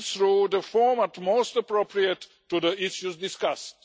through the format most appropriate to the issues discussed.